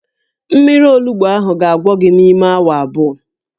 Mmiri olugbu ahụ ga-agwọ gị n'ime awa abụọ